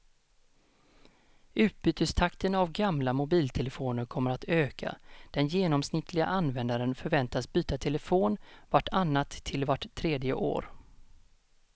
Utbytestakten av gamla mobiltelefoner kommer att öka, den genomsnittliga användaren förväntas byta telefon vart annat till vart tredje år.